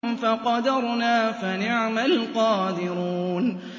فَقَدَرْنَا فَنِعْمَ الْقَادِرُونَ